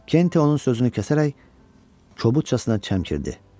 Kent onun sözünü kəsərək, kobudcasına çəmkirdi.